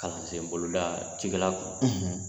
Kalansen boloda cikɛla kun